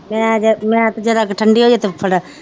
ਮੈ ਤੇ ਜ਼ਰਾ ਕਾ ਠੰਡੀ ਹੋਜੇ ਤਾ